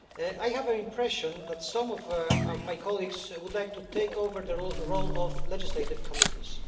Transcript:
I have the impression that some of my colleagues would like to take over the role of legislative committees.